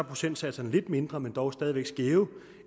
procentsatserne lidt mindre men dog stadig væk skæve